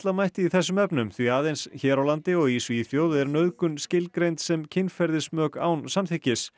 mætti í þessum efnum því aðeins hér á landi og í Svíþjóð er nauðgun skilgreind sem kynferðismök án samþykkis